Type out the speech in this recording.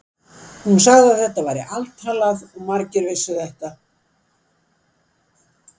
Hún sagði að þetta væri altalað og að margir vissu þetta.